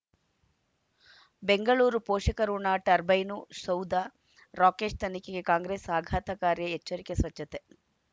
ಬೆಂಗಳೂರು ಪೋಷಕಋಣ ಟರ್ಬೈನು ಸೌಧ ರಾಕೇಶ್ ತನಿಖೆಗೆ ಕಾಂಗ್ರೆಸ್ ಆಘಾತಕಾರಿ ಎಚ್ಚರಿಕೆ ಸ್ವಚ್ಛತೆ